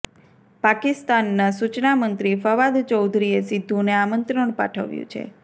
પાકિસ્તાનના સૂચના મંત્રી ફવાદ ચૌધરીએ સિદ્ધુને આમંત્રણ પાઠવ્યું છે